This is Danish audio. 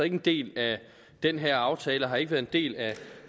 en del af den her aftale og har ikke været en del af